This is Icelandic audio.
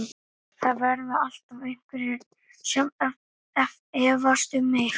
Það verða alltaf einhverjir sem efast um mig.